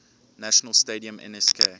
national stadium nsk